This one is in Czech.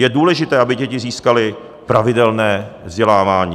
Je důležité, aby děti získaly pravidelné vzdělávání.